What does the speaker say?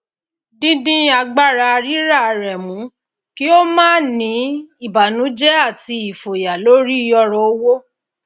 dídín agbára rira rẹ mú kí ó máa ní ìbànújẹ àti ìfòyà lórí ọrọ owó